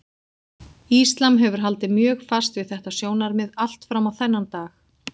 Íslam hefur haldið mjög fast við þetta sjónarmið allt fram á þennan dag.